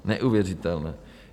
Neuvěřitelné.